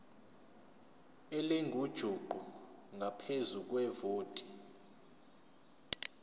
elingujuqu ngaphezu kwevoti